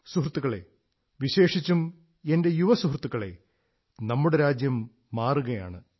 സുഹൃത്തുക്കളേ വിശേഷിച്ചും എന്റെ യുവ സുഹൃത്തുക്കളേ നമ്മുടെ രാജ്യം മാറുകയാണ്